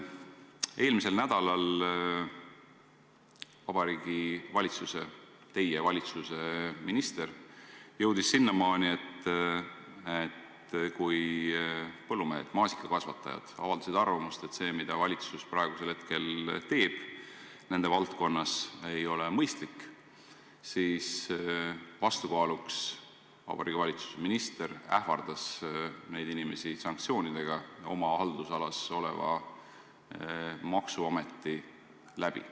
Eelmisel nädalal jõudis Vabariigi Valitsuse liige, teie valitsuse minister sinnamaani, et kui maasikakasvatajad avaldasid arvamust, et see, mida valitsus praegusel hetkel teeb nende valdkonnas, ei ole mõistlik, siis vastukaaluks ähvardas minister neid inimesi sanktsioonidega oma haldusalas oleva maksuameti kaudu.